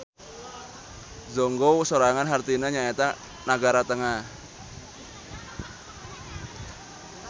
Zhongguo sorangan hartina nyaeta nagara tengah.